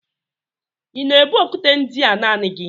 Ị na-ebu okwute ndị a naanị gị?